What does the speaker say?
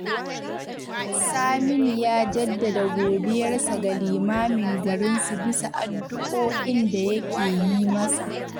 Saminu ya jaddada godiyarsa ga limamin garinsu bisa addu’o’in da yake yi masa